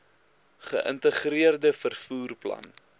geïntegreerde vervoer plan